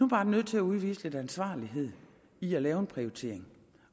bare nødt til at udvise lidt ansvarlighed ved at lave en prioritering